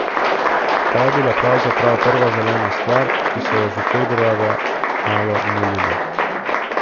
Ta je bila pravzaprav prva zelena stvar, ki smo jo že februarja malo mulili.